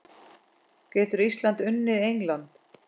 Getur Ísland unnið England?